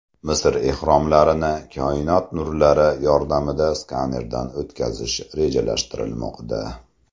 Misr ehromlarini koinot nurlari yordamida skanerdan o‘tkazish rejalashtirilmoqda.